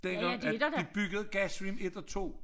Dengang at vi byggede gas stream 1 og 2